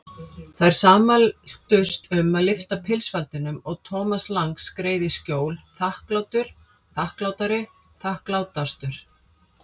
Þær sammæltust um að lyfta pilsfaldinum og Thomas Lang skreið í skjól, þakklátur, þakklátari, þakklátastur.